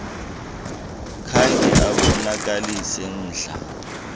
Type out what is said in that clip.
khange abonakalise mdla